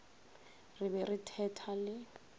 re be re thetha le